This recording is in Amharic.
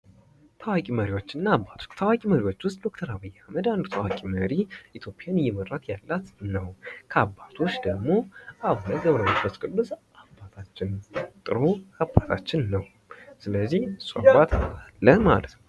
ታዋቂ መሪዎችና አባቶች ታዋቂ መሪዎች ውስጥ ዶክተር አብይ አህመድ አንዱ ታዋቂ መሪ ኢትዮጵያን እየመራት ያላት ነው። ከአባቶች ደሞ አቡነ ገብረ መንፈስ ቅዱስ አባታችን ጥሩ አባታችን ነው።